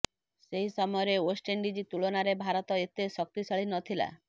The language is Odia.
ସେହି ସମୟରେ ୱେଷ୍ଟେଣ୍ଡିଜ୍ ତୁଳନାରେ ଭାରତ ଏତେ ଶକ୍ତିଶାଳୀ ନଥିଲା